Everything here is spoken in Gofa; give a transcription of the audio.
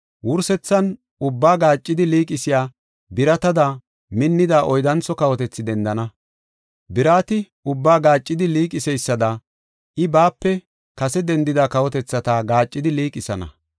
Wursethan ubbaa gaaccidi liiqisiya biratada minnida oyddantho kawotethi dendana. Birati ubbaa gaaccidi liiqiseysada I, baape kase dendida kawotethata gaaccidi liiqisana.